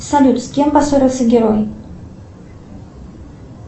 салют с кем поссорился герой